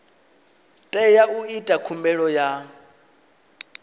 tea u ita khumbelo ya